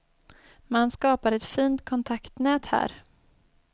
Man skapar ett fint kontaktnät här.